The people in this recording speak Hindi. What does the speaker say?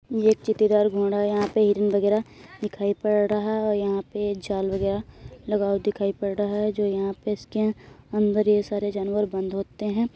ये चित्तीदार घोड़ा यहाँ पे हिरन वगैरह दिखाई पड़ रहा है और यहाँ पे जाल वगैरह लगा हुआ दिखाई पड़ रहा है जो यहाँ पे इसके अंदर ये सारे जानवर बंद होते हैं।